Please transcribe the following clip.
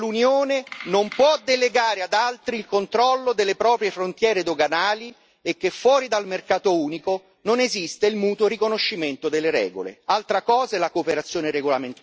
È bene chiarire che l'Unione non può delegare ad altri il controllo delle proprie frontiere doganali, e che fuori dal mercato unico non esiste il mutuo riconoscimento delle regole.